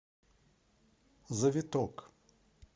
завиток